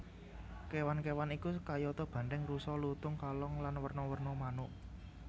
Kewan kewan iku kayata banthèng rusa lutung kalong lan werna werna manuk